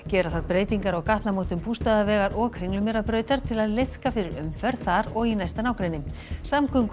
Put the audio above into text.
gera þarf breytingar á gatnamótum Bústaðavegar og Kringlumýrarbrautar til að liðka fyrir umferð þar og í næsta nágrenni